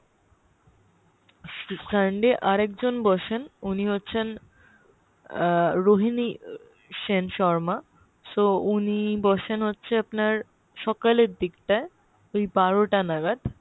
Sunday আর একজন বসেন উনি হচ্ছেন আহ রোহিনী সেন শর্মা so উনি বসেন হচ্ছে আপনার সকালের দিকটা ওই বারো তা নাগাদ